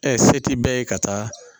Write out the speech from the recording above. se ti bɛɛ ye ka taa